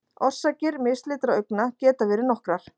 Orsakir mislitra augna geta verið nokkrar.